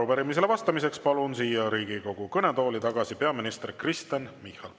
Arupärimisele vastamiseks palun siia Riigikogu kõnetooli tagasi peaminister Kristen Michali.